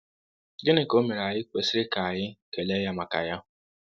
Gịnị ka omere anyi kwesịrị ka anyi kele ya maka ya?